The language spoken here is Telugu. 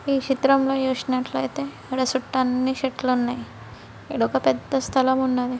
ఈ చిత్రంలో చూసినట్లయితే ఇక్కడ చుట్టూ అన్నీ చెట్లున్నాయ్. ఇడొక పెద్ద స్థలం ఉన్నది.